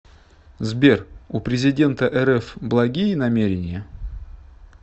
сбер у президента рф благие намерения